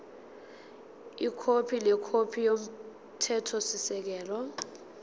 ikhophi nekhophi yomthethosisekelo